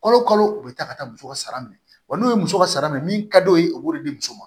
Kalo kalo u bɛ taa ka taa muso ka sara minɛ wa n'u ye muso ka sara minɛ min ka d'u ye u b'o de di muso ma